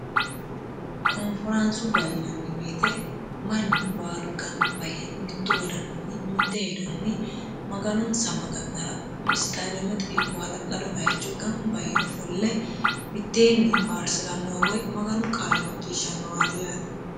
konforaansubba yinanni woyite mannu baalu gamba yee mittu wodaninni mitte hedonni maganonsa maga'nara isitademete ikko hala'lado baycho gamba yee ofolle mitteenni faarsirannowa woy maganu qaale nacciishshannowaati yaate